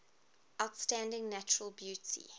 outstanding natural beauty